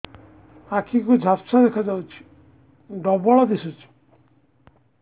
ଆଖି କୁ ଝାପ୍ସା ଦେଖାଯାଉଛି ଡବଳ ଦିଶୁଚି